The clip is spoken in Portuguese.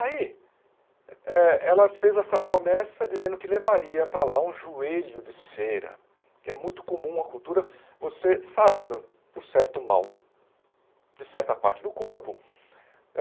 Aí, eh ela fez essa promessa dizendo que levaria para lá um joelho de cera, que é muito comum na cultura, você sarando por certo mal de certa parte do corpo.